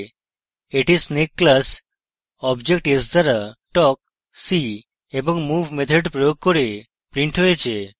এটি snake class object s দ্বারা talk see এবং move methods প্রয়োগ করে printed হয়েছে